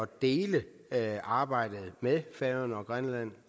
dele arbejdet med færøerne og grønland